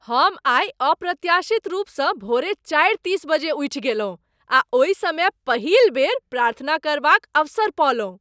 हम आइ अप्रत्याशित रूपसँ भोरे चारि तीस बजे उठि गेलहुँ आ ओहि समय पहिल बेर प्रार्थना करबाक अवसर पओलहुँ।